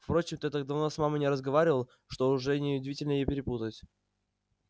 впрочем ты так давно с мамой не разговаривал что уже неудивительно и перепутать